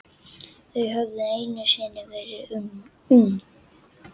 Þau höfðu einu sinni verið ung.